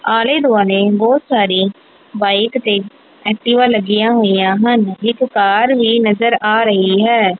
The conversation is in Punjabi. ਆਲੇ ਦੁਆਲੇ ਬਹੁਤ ਸਾਰੀ ਬਾਈਕ ਤੇ ਐਕਟੀਵਾ ਲੱਗੀਆਂ ਹੋਈਆਂ ਹਨ ਇਕ ਕਾਰ ਵੀ ਨਜ਼ਰ ਆ ਰਹੀ ਹੈ।